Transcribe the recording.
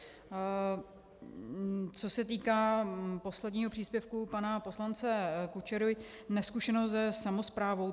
Co se týká posledního příspěvku pana poslance Kučery, nezkušenost se samosprávou.